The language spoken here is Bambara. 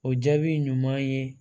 O jaabi ɲuman ye